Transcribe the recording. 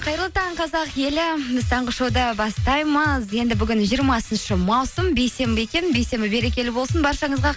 қайырлы таң қазақ елі біз таңғы шоуды бастаймыз енді бүгін жиырмасыншы маусым бейсенбі екен бейсенбі берекелі болсын баршаңызға